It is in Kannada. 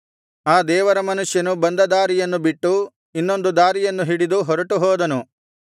ಆ ದೇವರ ಮನುಷ್ಯನು ಬಂದ ದಾರಿಯನ್ನು ಬಿಟ್ಟು ಇನ್ನೊಂದು ದಾರಿಯನ್ನು ಹಿಡಿದು ಹೊರಟು ಹೋದನು